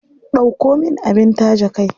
Ɗauko min abin taje kai.